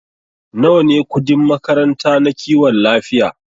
Nawa ne kudin makaranta na kiwon lafiya?